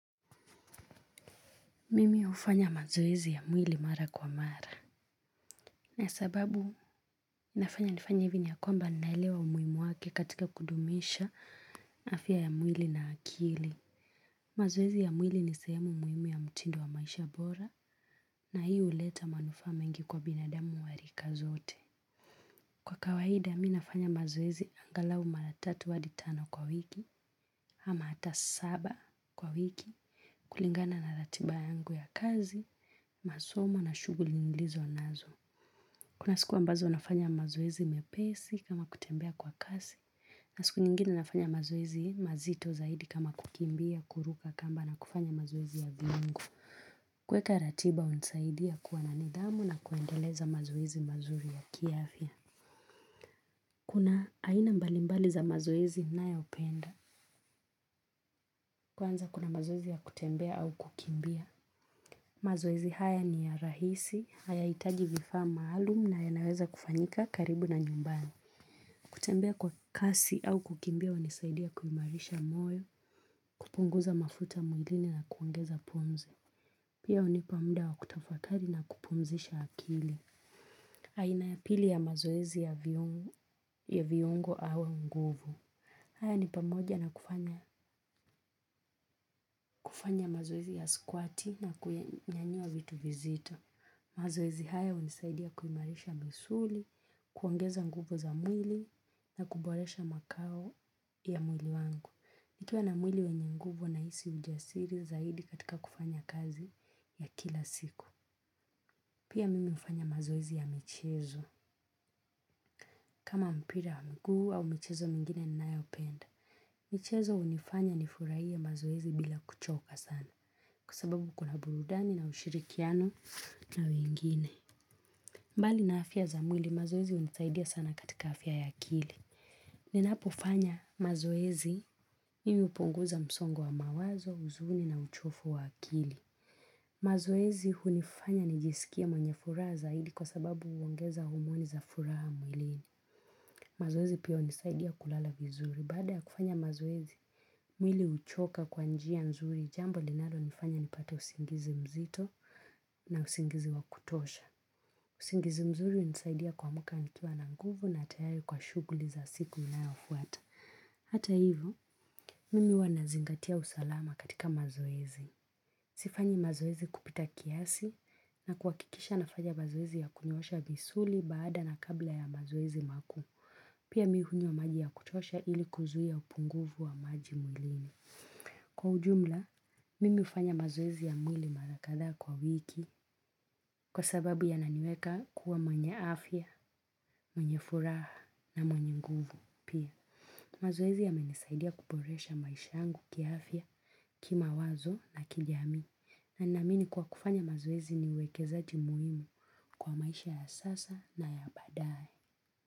Mimi hufanya mazoezi ya mwili mara kwa mara, na sababu inafanya nifanye hivi ni ya kwamba naelewa umuhimu wake katika kudumisha afya ya mwili na akili. Mazoezi ya mwili ni sehemu muhimu ya mtindo wa maisha bora na hii huleta manufaa mengi kwa binadamu wa rika zote. Kwa kawaida, mi nafanya mazoeezi angalau mara tatu hadi tano kwa wiki, ama hata saba kwa wiki, kulingana na ratiba yangu ya kazi, masomo na shughuli nilizo nazo. Kuna siku ambazo nafanya mazoezi mepesi kama kutembea kwa kasi, na siku nyingine nafanya mazoezi mazito zaidi kama kukimbia, kuruka kamba na kufanya mazoezi ya viungo. Kuweka ratiba hunisaidia kuwa na nidhamu na kuendeleza mazoezi mazuri ya kiafya. Kuna aina mbalimbali za mazoezi ninayopenda. Kwanza kuna mazoezi ya kutembea au kukimbia. Mazoezi haya ni ya rahisi, hayahitaji vifaa maalum na yanaweza kufanyika karibu na nyumbani. Kutembea kwa kasi au kukimbia hunisaidia kuimarisha moyo, kupunguza mafuta mwilini na kuongeza pumzi. Pia hunipa muda wa kutafakari na kupumzisha akili. Aina ya pili ya mazoezi ya viungo au nguvu. Haya ni pamoja na kufanya kufanya mazoezi ya squat na kuyanyanyua vitu vizito. Mazoezi haya hunisaidia kuimarisha misuli, kuongeza nguvu za mwili na kuboresha makao ya mwili wangu. Nikiwa na mwili wenye nguvu nahisi ujasiri zaidi katika kufanya kazi ya kila siku. Pia mimi hufanya mazoezi ya michezo. Kama mpira wa mguu au michezo mengine ninayopenda. Michezo hunifanya nifurahie mazoezi bila kuchoka sana. Kwa sababu kuna burudani na ushirikiano na wengine. Mbali na afya za mwili mazoezi hunisaidia sana katika afya ya akili. Ninapofanya mazoezi mimi hupunguza msongo wa mawazo, huzuni na uchovu wa akili. Mazoezi hunifanya nijisikie mwenye furaha zaidi kwa sababu huongeza homoni za furaha mwilini. Mazoezi pia hunisaidia kulala vizuri. Baada ya kufanya mazoezi, mwili huchoka kwa njia nzuri. Jambo linalonifanya nipate usingizi mzito. Na usingizi wa kutosha. Usingizi mzuri hunisaidia kuamka nikiwa na nguvu na tayari kwa shughuli za siku inayofuata. Hata hivo, mimi huwa nazingatia usalama katika mazoezi. Sifanyi mazoezi kupita kiasi na kuhakikisha nafanya mazoezi ya kunyoasha misuli baada na kabla ya mazoezi makuu. Pia mi hunywa maji ya kutosha ili kuzui ya upunguvu wa maji mwilini. Kwa ujumla mimi hufanya mazoezi ya mwili mara kadhaa kwa wiki kwa sababu yananiweka kuwa mwenye afya, mwenye furaha na mwenye nguvu pia. Mazoezi yamenisaidia kuboresha maisha yangu kiaafya kimawazo na kijamii. Na naamini kuwa kufanya mazoezi ni wekezaji muhimu kwa maisha ya sasa na ya baadae.